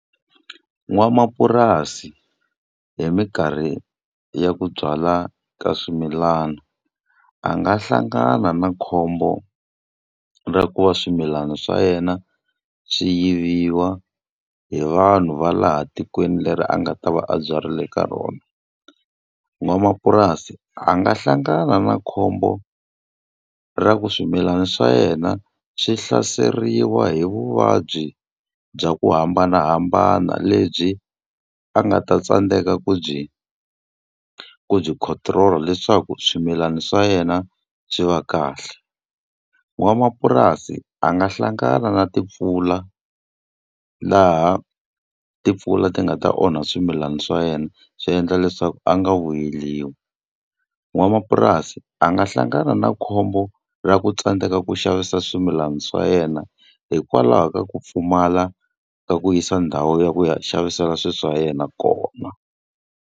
N'wamapurasi hi mikarhi ya ku byala ka swimilana, a nga hlangana na khombo ra ku va swimilana swa yena swi yiviwa hi vanhu va laha tikweni leri a nga ta va a byarile ka rona. N'wamapurasi a nga hlangana na khombo ra ku swimilana swa yena swi hlaseriwa hi vuvabyi bya ku hambanahambana, lebyi a nga ta tsandzeka ku byi ku byi control leswaku swimilana swa yena byi va kahle. N'wamapurasi a nga hlangana na timpfula laha timpfula ti nga ta onha swimilana swa yena, swi endla leswaku a nga vuyeriwi. N'wamapurasi a nga hlangana na khombo ra ku tsandzeka ku xavisa swimilana swa yena, hikwalaho ka ku pfumala ka ku yisa ndhawu ya ku ya xavisela swilo swa yena kona.